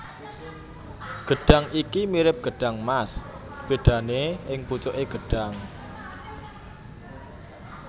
Gedhang iki mirip gedhang mas bedane ing pucuke gedhang